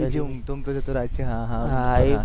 ઊંટ ઉપરથી હા હા